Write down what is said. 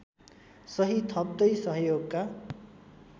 सही थप्दै सहयोगका